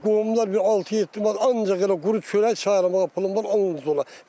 Qohumlar bir 6-7 ay ancaq elə quru çörək çaya almağa pulum var.